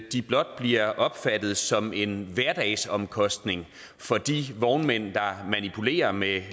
de blot bliver opfattet som en hverdagsomkostning for de vognmænd der manipulerer med